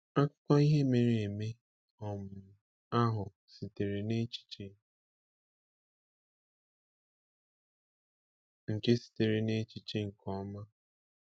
Akụkọ ihe mere eme um ahụ sitere n’echiche nke sitere n’echiche nke ọma.